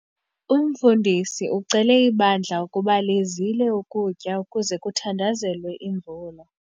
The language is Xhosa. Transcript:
Umfundisi ucele ibandla ukuba lizile ukutya ukuze kuthandazelwe imvula.